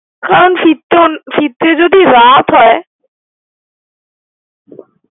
কারন ফিরতে যদি রাত হয়।